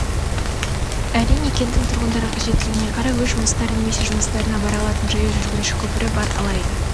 әрине кенттің тұрғындары қажеттілігіне қарай өз жұмыстары немесе жұмыстарына бара алатын жаяу жүргінші көпірі бар алайда